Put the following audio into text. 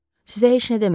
Sizə heç nə demədi?